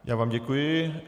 Já vám děkuji.